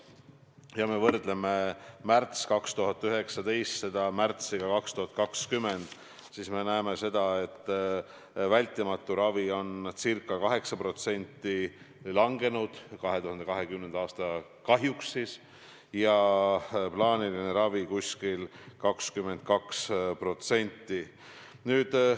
Kui me võrdleme märtsi 2019 märtsiga 2020, siis me näeme, et vältimatu ravi on ca 8% langenud – 2020. aasta kahjuks – ja plaaniline ravi umbes 22%.